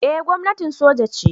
Eh gwamnatin soja ce